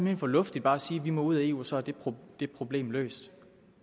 hen for luftigt bare at sige at vi må ud af eu og så er det det problem løst